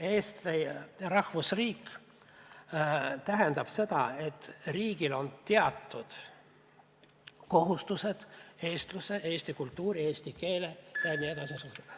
Eesti rahvusriik tähendab seda, et riigil on teatud kohustused eestluse, eesti kultuuri, eesti keele ja nii edasi osas.